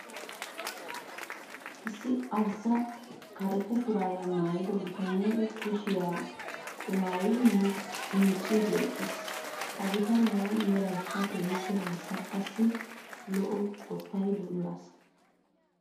Issi arssa karetta shuraabiyaa maayida bitanee kushiyaa qumaayidi micciidi eqqiis. Ha bitaniyaawu meraykka keehiippe arssa qassi lo"o qottay de'iyoo asa.